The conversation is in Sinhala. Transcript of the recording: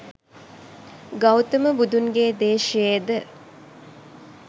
ගෞතම බුදුන්ගේ දේශයේ ද